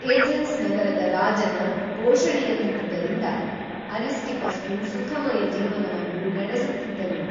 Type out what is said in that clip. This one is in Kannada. ಏಥೆನ್ಸ್ ನಗರದ ರಾಜನ ಪೋಷಣೆಯಲ್ಲಿದ್ದುದರಿಂದ ಅರಿಸ್ಟಿಪಸ್‌ನು ಸುಖಮಯ ಜೀವನವನ್ನು ನಡೆಸುತ್ತಿದ್ದನು